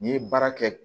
N'i ye baara kɛ